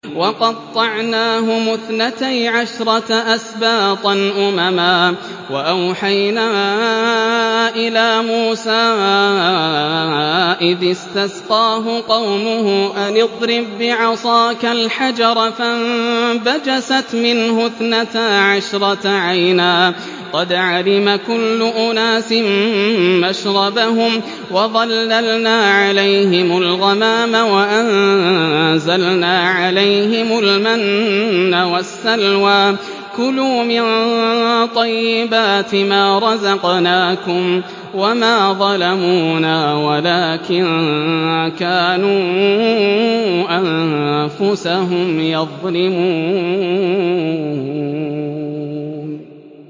وَقَطَّعْنَاهُمُ اثْنَتَيْ عَشْرَةَ أَسْبَاطًا أُمَمًا ۚ وَأَوْحَيْنَا إِلَىٰ مُوسَىٰ إِذِ اسْتَسْقَاهُ قَوْمُهُ أَنِ اضْرِب بِّعَصَاكَ الْحَجَرَ ۖ فَانبَجَسَتْ مِنْهُ اثْنَتَا عَشْرَةَ عَيْنًا ۖ قَدْ عَلِمَ كُلُّ أُنَاسٍ مَّشْرَبَهُمْ ۚ وَظَلَّلْنَا عَلَيْهِمُ الْغَمَامَ وَأَنزَلْنَا عَلَيْهِمُ الْمَنَّ وَالسَّلْوَىٰ ۖ كُلُوا مِن طَيِّبَاتِ مَا رَزَقْنَاكُمْ ۚ وَمَا ظَلَمُونَا وَلَٰكِن كَانُوا أَنفُسَهُمْ يَظْلِمُونَ